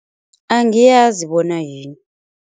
Angiyazi bona yini.